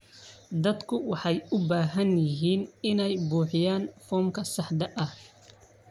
Dadku waxay u baahan yihiin inay buuxiyaan foomka saxda ah.